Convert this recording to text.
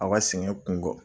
Aw ka sɛgɛn kun gɔ